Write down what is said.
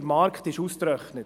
Der Markt ist ausgetrocknet.